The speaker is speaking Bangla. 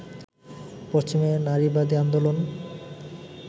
পশ্চিমের নারীবাদী আন্দোলন